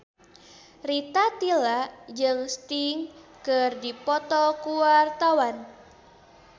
Rita Tila jeung Sting keur dipoto ku wartawan